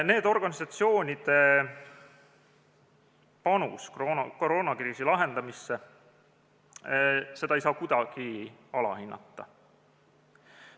Nende organisatsioonide panust koroonakriisi lahendamisse ei saa kuidagi alahinnata.